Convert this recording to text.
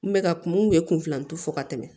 N bɛ ka kun bɛ kunfilanju fɔ ka tɛmɛ